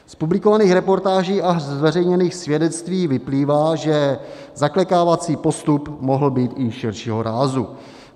Z publikovaných reportáží a zveřejněných svědectví vyplývá, že zaklekávací postup mohl být i širšího rázu.